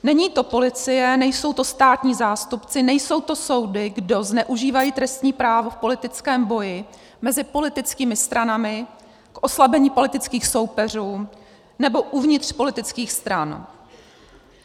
Není to policie, nejsou to státní zástupci, nejsou to soudy, kdo zneužívají trestní právo v politickém boji, mezi politickými stranami, k oslabení politických soupeřů nebo uvnitř politických stran.